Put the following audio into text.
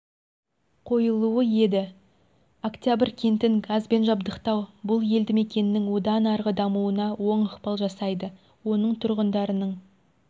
қойылуы еді октябрь кентін газбен жабдықтау бұл елді мекеннің одан арғы дамуына оң ықпал жасайды оның тұрғындарының